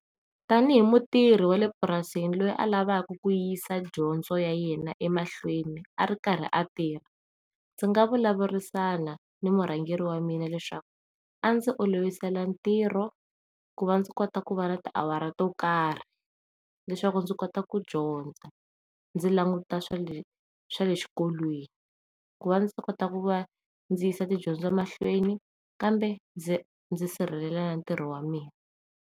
Tanihi mutirhi wale purasini loyi a lavaku ku yisa dyondzo ya yena emahlweni a ri karhi a tirha ndzi nga vulavurisana ni murhangeri wa mina leswaku a ndzi olovisa ntirho ku va ndzi kota ku va na tiawara to karhi leswaku ndzi kota ku dyondza ndzi languta swale, swale xikolweni ku va ndzi kota ku va ndzi yisa tidyondzo mahlweni kambe ndzi ndzi sirhelela ntirho wa mina.